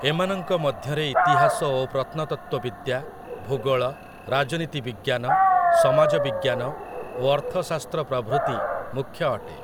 ଏମାନଙ୍କ ମଧ୍ୟରେ ଇତିହାସ ଓ ପ୍ରତ୍ନତତ୍ତ୍ୱ ବିଦ୍ୟା, ଭୂଗୋଳ, ରାଜନୀତି ବିଜ୍ଞାନ, ସମାଜ ବିଜ୍ଞାନ ଓ ଅର୍ଥଶାସ୍ତ୍ର ପ୍ରଭୃତି ମୁଖ୍ୟ ଅଟେ ।